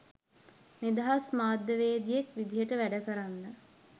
නිදහස් මාධ්‍යවේදියෙක් විදිහට වැඩ කරන්න